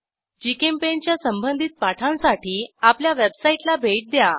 GChemPaint च्या संबधित पाठांसाठी आपल्या वेबसाईटला भेट द्या